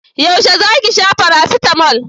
Yaushe za ki sha farasitamol?